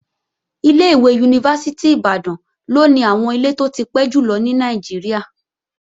Ilé-ìwé Yunifásítì Ìbàdàn ló ní àwọn ilé tó ti pẹ́ jùlọ ní Nàìjíríà